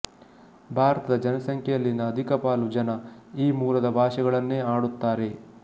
ಭಾರತದ ಜನಸಂಖ್ಯೆಯಲ್ಲಿನ ಅಧಿಕಪಾಲು ಜನ ಈ ಮೂಲದ ಭಾಷೆಗಳನ್ನೇ ಆಡುತ್ತಾರೆ